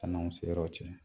San'anw seyɔrɔ cɛ